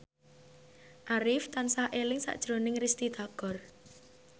Arif tansah eling sakjroning Risty Tagor